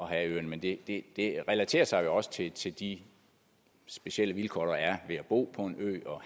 have øerne men det relaterer sig jo også til til de specielle vilkår der er ved beboere på en ø og